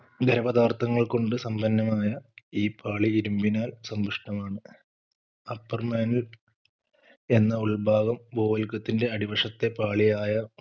ഖരപദാർത്ഥങ്ങൾ കൊണ്ട് സമ്പന്നമായ ഈ പാളി ഇരുമ്പിനാൽ സമ്പുഷ്ടമാണ് Upper mantle എന്ന ഉൾഭാഗം ഭൂവൽക്കത്തിന്റെ അടിവശത്തെ പാളിയായ